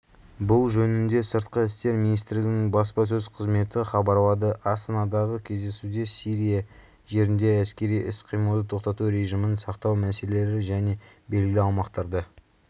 бұл жөнінде сыртқы істер министрлігінің баспасөз қызметі хабарлады астанадағы кездесуде сирия жерінде әскери іс-қимылды тоқтату режимін сақтау мәселелері және белгілі аумақтарда